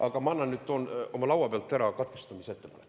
Aga ma annan nüüd, toon oma laua pealt ära katkestamisettepaneku.